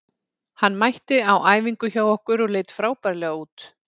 Hann mætti á æfingu hjá okkur og leit frábærlega út.